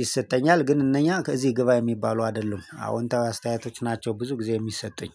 ይሰጠኛል ግን እነኛ ከዚህ ግባ የሚባሉ አይደሉም አዎንታዊ አስተያየቶች ናቸው ብዙ ጊዜ የሚሰጡኝ